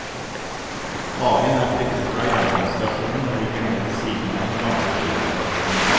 Hagen er flyttet fra jernbanestasjonen, og ligger nå ved siden av den gamle skysstasjonen.